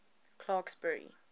clarksburry